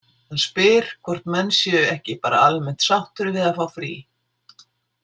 Hann spyr hvort menn séu „ekki bara almennt sáttir við að fá frí“?